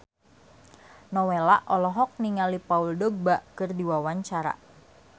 Nowela olohok ningali Paul Dogba keur diwawancara